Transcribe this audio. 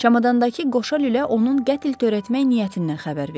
Çamadandakı qoşa lülə onun qətl törətmək niyyətindən xəbər verir.